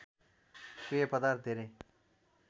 पेय पदार्थ धेरै